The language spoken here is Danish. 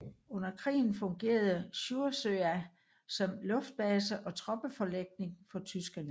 Under krigen fungerede Sjursøya som luftbase og troppeforlægning for tyskerne